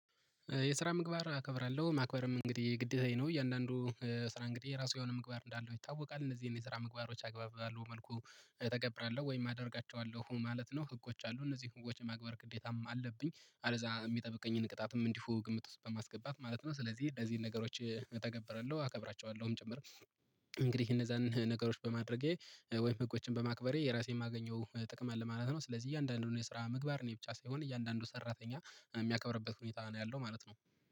የስራ ምግባር እከብራለሁ ማክበርም እንግዲህ ግዴታዬ ነው እያንዳንዱ ስራ እንግዲህ ራሱ የሆነ ምግባር እንዳለው ይታወቃል እነዚህ የኔ ስራ ምግባሮች አግባብባለሁ መልኩ እተገብራለሁ ወይም አደርጋቸዋለሁ ማለት ነው። ህጎች አሉ እነዚህ ህጎች የማግበር ግዴታም አለብኝ አለዛ የሚጠብቀኝን ቅጣትም እንዲሁ ግምት ውስጥ በማስገባት ማለት ነው። ስለዚህ ለዚህ ነገሮች እተገብረዋለሁ አከብራቸዋለሁም ጭምር። እንግዲህ እነዛን ነገሮች በማድረጌ ወይም ህጎችን በማክበሬ የራሴን የማገኘው ጥቅም አለ ማለት ነው። ስለዚህ እያንዳንዱን የስራ ምግባር እኔ ብቻ ሳይሆን እያንዳንዱ ሰራተኛ የሚያከብርበት ሁኔታ ነው ያለው ማለት ነው።